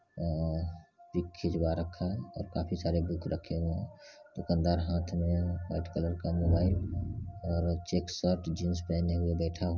उमम पिक खिजवा रक्खा हुआ है और काफी सारे बुक रखे हुए है दुकानदार हाथ में वाइट कलर का मोबाइल और चेक शर्ट जीन्स पहने हुए बैठा हुआ है ।